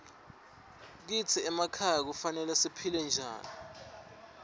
kitsi emakhaya kufanele siphile njani